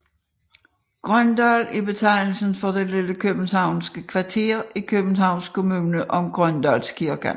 Grøndal er betegnelsen for det lille københavnske kvarter i Københavns Kommune omkring Grøndalskirken